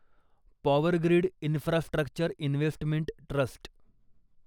power grid infrastructure investment trust